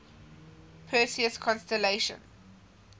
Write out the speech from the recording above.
perseus constellation